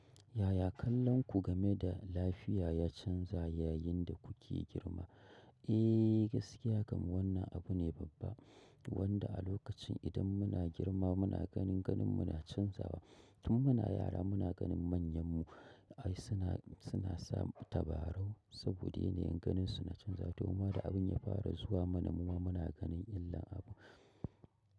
Yaya kallonku game da lafiya ya canza yayin da kuke girma? Eh, gaskiya kam wannan abu ne babba wanda a lokacin idan muna girma muna ganin ganinmu na canzawa. Tun muna yara muna ganin manyanmu ai suna, suna samun tabarau saboda ne yanayin ganinsu na canzawa. Domin da abin ya fara zuwa mana mu ma muna ganin illar abu.